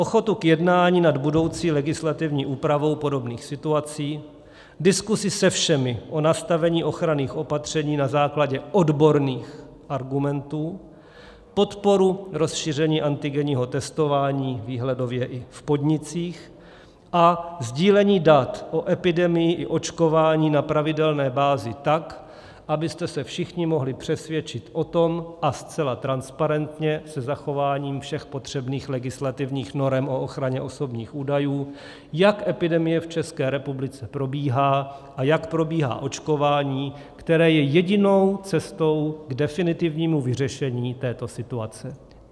Ochotu k jednání nad budoucí legislativní úpravou podobných situací, diskusi se všemi o nastavení ochranných opatření na základě odborných argumentů, podporu rozšíření antigenního testování výhledově i v podnicích a sdílení dat o epidemii i očkování na pravidelné bázi tak, abyste se všichni mohli přesvědčit o tom, a zcela transparentně se zachováním všech potřebných legislativních norem o ochraně osobních údajů, jak epidemie v České republice probíhá a jak probíhá očkování, které je jedinou cestou k definitivnímu vyřešení této situace.